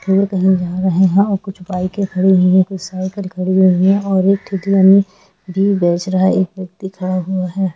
और कही जा रहे है कुछ बाइके खड़ी हुई है कुछ साइकिले खड़ी हुई है और एक भी बेच रहा है एक व्यक्ति खड़ा हुआ है।